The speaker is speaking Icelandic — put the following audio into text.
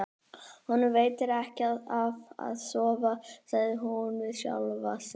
Honum veitir ekki af að sofa, sagði hún við sjálfa sig.